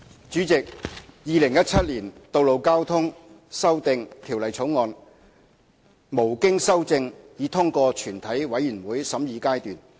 主席，《2017年道路交通條例草案》無經修正已通過全體委員會審議階段。